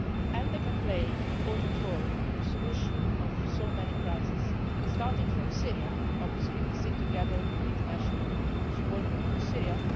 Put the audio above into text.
And they can play an important role in the solution of so many crises, starting with Syria, obviously we sit together in the International Support Group for Syria.